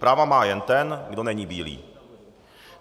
Práva má jen ten, kdo není bílý.